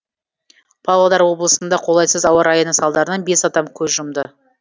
павлодар облысында қолайсыз ауа райының салдарынан бес адам көз жұмды